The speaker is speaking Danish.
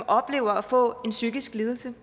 oplever at få en psykisk lidelse